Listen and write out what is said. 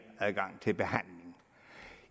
adgang til behandling